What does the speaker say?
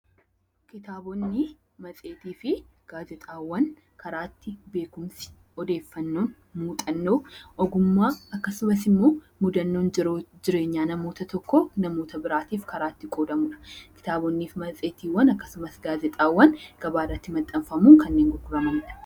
Kitaabota, Matseetii fi Gaazexaawwan karaa itti odeeffannoowwan muuxannoo, ogummaa fi akkasumas immoo mudannoo jiruuf jireenyaa namoota tokkoo namoota biraaf qoodamudha. Kitaabonni, Matseetiiwwan akkasumas gaazexaawwan gabaa irratti maxxanfamuun kanneen gurguramanidha.